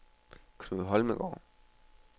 Knud Holmgaard